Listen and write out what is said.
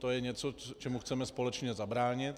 To je něco, čemu chceme společně zabránit.